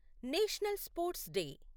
national sports day